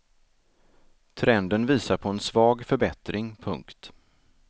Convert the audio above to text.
Trenden visar på en svag förbättring. punkt